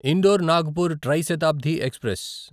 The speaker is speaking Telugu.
indoor Nagpur tri Shatabdi express